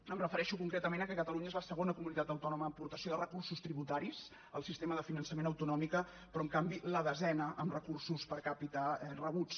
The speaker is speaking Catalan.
em refereixo concretament que catalunya és la segona comunitat autònoma en aportació de recursos tributaris al sistema de finançament autonòmic però en canvi la desena en recursos per capitarebuts